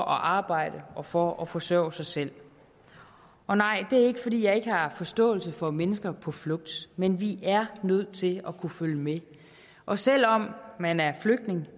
arbejde og for at forsørge sig selv og nej det er ikke fordi jeg ikke har forståelse for mennesker på flugt men vi er nødt til at kunne følge med og selv om man er flygtning